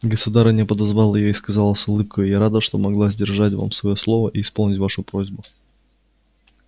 государыня подозвала её и сказала с улыбкою я рада что могла сдержать вам своё слово и исполнить вашу просьбу